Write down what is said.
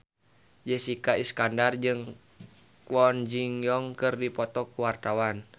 Jessica Iskandar jeung Kwon Ji Yong keur dipoto ku wartawan